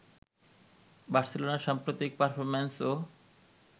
বার্সেলোনার সাম্প্রতিক পারফরম্যান্সও